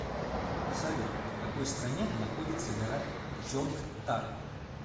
салют в какой стране находится гора чонгтар